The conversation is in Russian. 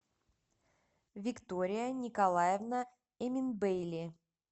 виктория николаевна эминбейли